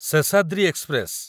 Seshadri express